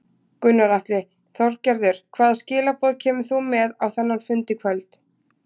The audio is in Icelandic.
Gunnar Atli: Þorgerður hvaða skilaboð kemur þú með á þennan fund í kvöld?